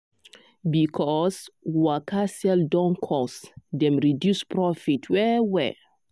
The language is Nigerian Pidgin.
because waka sell don cost dem reduce profit well-well.